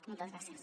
moltes gràcies